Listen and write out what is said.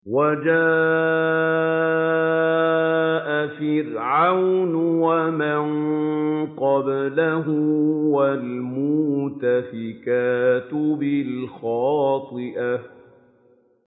وَجَاءَ فِرْعَوْنُ وَمَن قَبْلَهُ وَالْمُؤْتَفِكَاتُ بِالْخَاطِئَةِ